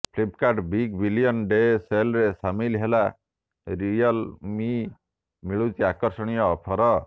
Flipkart big billion day ସେଲରେ ସାମିଲ ହେଲା ରିୟଲ ମି ମିଳୁଛି ଆକର୍ଷଣୀୟ ଅଫର